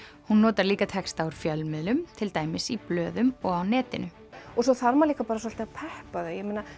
hún notar líka texta úr fjölmiðlum til dæmis í blöðum og á netinu og svo þarf maður líka bara svolítið að peppa þau